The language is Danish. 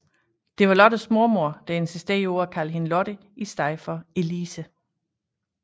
Det var Lottes mormor der insisterede på at kalde hende Lotte i stedet for Elise